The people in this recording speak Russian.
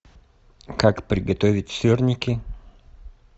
как приготовить сырники